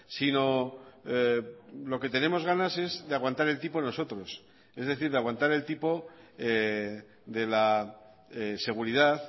sino lo que tenemos ganas es de aguantar el tipo nosotros es decir de aguantar el tipo de la seguridad